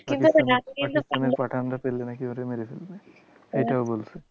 পাঠানরা পেলে নাকি ওরে মেরে ফেলবে, এটাও বলছে।